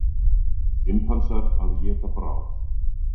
Simpansar að éta bráð.